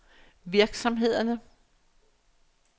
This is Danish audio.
virksomhederne